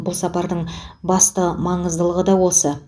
бұл сапардың басты маңыздылығы да осы